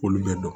Olu bɛ dɔn